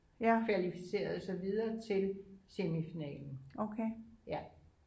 kvalificerede sig videre til semifinalen ja